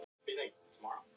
Alli á að ver ann!